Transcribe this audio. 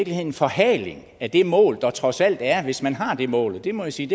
en forhaling af det mål der trods alt er hvis man har det mål og det må jeg sige